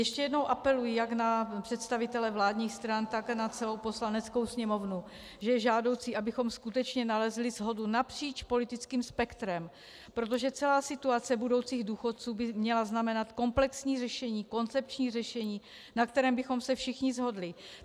Ještě jednou apeluji jak na představitele vládních stran, tak na celou Poslaneckou sněmovnu, že je žádoucí, abychom skutečně nalezli shodu napříč politickým spektrem, protože celá situace budoucích důchodců by měla znamenat komplexní řešení, koncepční řešení, na kterém bychom se všichni shodli.